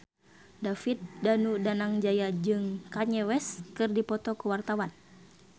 David Danu Danangjaya jeung Kanye West keur dipoto ku wartawan